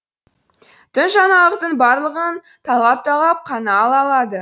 тың жаңалықтың барлығын талғап талғап қана ала алады